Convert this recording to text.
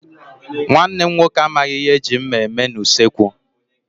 Nwanne m nwoke amaghị ihe e ji mma eme n'usekwu.